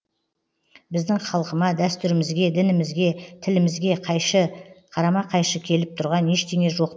біздің халқыма дәстүрімізге дінімізге тілімізге қайшы қарама қайшы келіп тұрған ештеңе жоқ